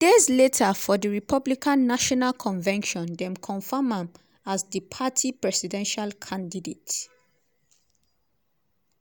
days later for di republican national convention dem confam am as di party presidential candidate.